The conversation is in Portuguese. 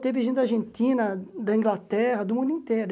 Teve gente da Argentina, da Inglaterra, do mundo inteiro.